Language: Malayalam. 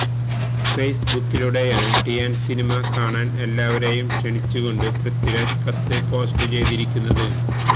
ഫേസ്ബുക്കിലുടെയാണ് ടിയാന് സിനിമ കാണാന് എല്ലാവരെയും ക്ഷണിച്ചു കൊണ്ട് പൃഥ്വിരാജ് കത്ത് പോസ്റ്റ് ചെയ്തിരിക്കുന്നത്